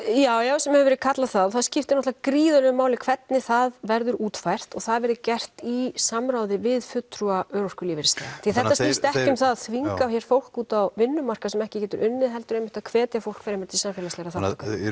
já já sem hefur verið kallað það og það skiptir náttúrulega gríðalegu máli hvernig það verður útfært og að það verði gert í samráði við fulltrúa örorku og lífeyrisþega því þetta snýst ekki um að þvinga hér fólk út á vinnumarkað sem ekki getur unnið heldur einmitt að hvetja fólk fremur til samfélagslegrar þátttöku